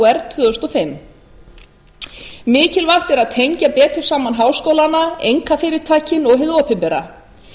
frumkvöðlapunkti tvö þúsund og fimm mikilvægt er að tengja betur saman háskólana einkafyrirtækin og hið opinbera